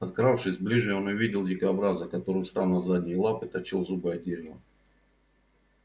подкравшись ближе он увидел дикобраза который встав на задние лапы точил зубы о дерево